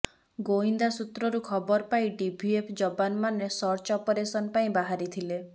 ଗୋଇନ୍ଦା ସୂତ୍ରରୁ ଖବର ପାଇଁ ଡିଭିଏଫ ଯବାନମାନେ ସର୍ଚ୍ଚ ଅପରେସନ ପାଇଁ ବାହାରିଥିଲେ